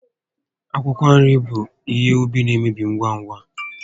Akwụkwọ nri bụ ihe úbì na-emebi ngwa ngwa